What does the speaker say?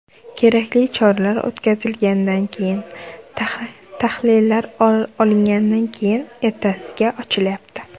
Kerakli choralar o‘tkazilgandan keyin, tahlillar olingandan keyin, ertasiga ochilyapti.